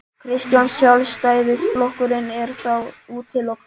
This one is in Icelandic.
Kristján: Sjálfstæðisflokkurinn er þá útilokaður?